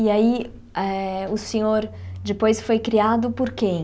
E aí, eh o senhor depois foi criado por quem?